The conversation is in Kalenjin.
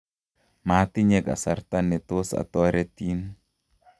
matinye kasarta ne tos atoretin